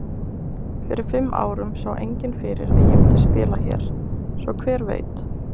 Fyrir fimm árum sá enginn fyrir að ég myndi spila hér. svo hver veit?